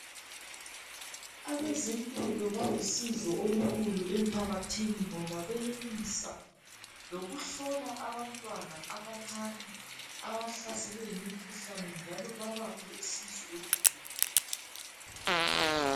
Abezempilo balusizo olukhulu emphakathini ngoba benelisa lokuhlola abantwana abancane abahlaselwe yimikhuhlane njalo babaphe usizo olukhulu.